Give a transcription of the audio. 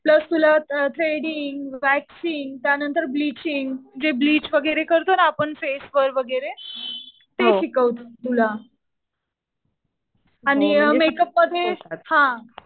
Plus तुला threading, waxing, त्यानंतर bleaching. जे ब्लिच वगैरे करतो ना आपण फेस वर वगैरे ते शिकवतील तुला. आणि मेक अप मध्ये